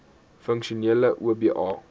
funksionele oba